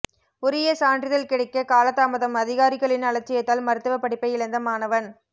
உரிய சான்றிதழ் கிடைக்க காலதாமதம் அதிகாரிகளின் அலட்சியத்தால் மருத்துவ படிப்பை இழந்த மாணவன்